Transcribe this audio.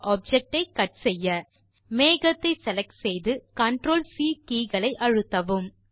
object ஐ cut செய்ய மேகத்தை செலக்ட் செய்து CTRL சி கே களை அழுத்தவும்